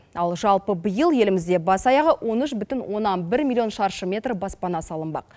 ал жалпы биыл елімізде бас аяғы он үш бүтін оннан бір миллион шаршы метр баспана салынбақ